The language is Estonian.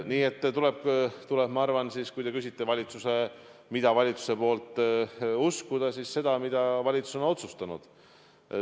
Nii et ma arvan, kui te küsite, mida valitsuse poolt uskuda, siis ma arvan, et seda, mida valitsus on otsustanud.